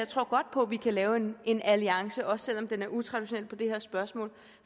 tror godt på at vi kan lave en en alliance også selv om den er utraditionel på det her spørgsmål